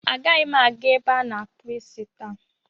Agaghị m aga ebe a na-akpụ isi taa.